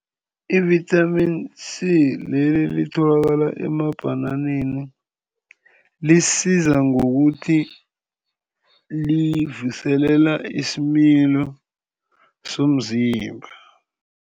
Ivithamini C, leli elitholakala emabhananeni lisiza ngokuthi livuselela isimilo somzimba.